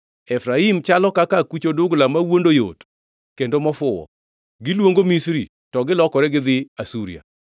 “Efraim chalo kaka akuch odugla mawuondo yot kendo mofuwo, giluongo Misri to gilokore gidhi Asuria.